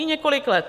I několik let!